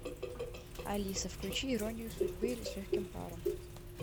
алиса включи иронию судьбы или с легким паром